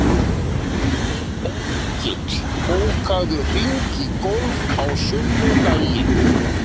Engill, bókaðu hring í golf á sunnudaginn.